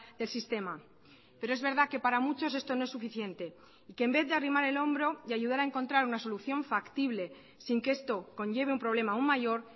del sistema pero es verdad que para muchos esto no es suficiente y que en vez de arrimar el hombro y ayudar a encontrar una solución factible sin que esto conlleve un problema aun mayor